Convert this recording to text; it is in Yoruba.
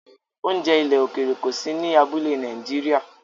Oúnjẹ ilẹ̀ òkèèrè kò sí ní abúlé Nàìjíríà